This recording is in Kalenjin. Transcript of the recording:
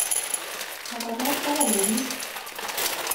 Somanet kowalei pik